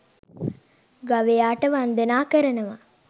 ගවයාට වන්දනා කරනවා